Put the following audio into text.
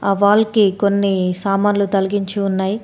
ఆ వాల్ కి కొన్ని సామాన్లు తలిగించి ఉన్నాయి.